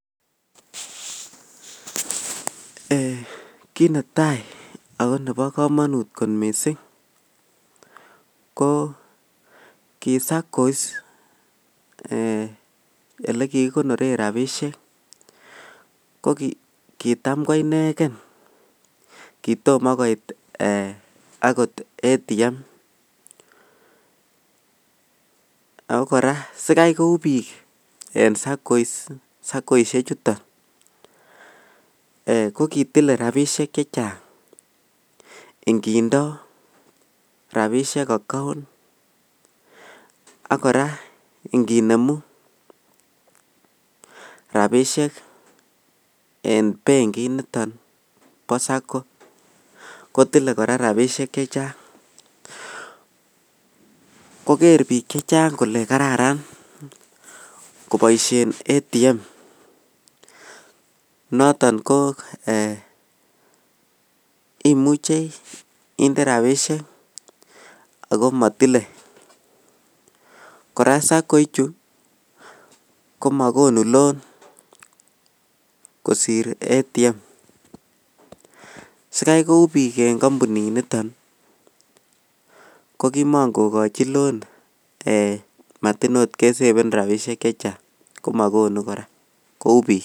Kit netai ago nebo kamanut mising ko ki SACCOS olekikikonoren rapisiek ko kitam ko inegen. Kitom agot koit ATM. Ago kora sigai kou biik en Sakoisiechuton ko kotile rapisiek che chang, ingindo rapisiek account ak inginemu rapisiek en benkit niton bo sako kotile kora rapisiek che chang. Koger biik che chang kole karararan koboisien ATM, noton ko ee, imuche inde rapisiek ago matile. Kora sako ichu komakonu lon kosir ATM. Sigai kou biik en kampunit niton ko kimakogochin lon ee matin oot kesepen rapisiek che chang komagonu kora, kou biik.